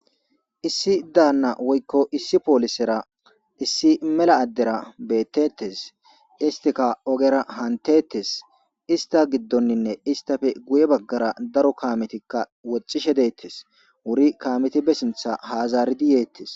Issi daanna woykko issi poolisera issi mela addera beettettes, istika ogera hantetes, ista giddonninne istafe guye baggara daro kametikka wocishe deettes, wuri kaameti bessintha haazaridi yeettes.